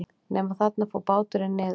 Nema þarna fór báturinn niður.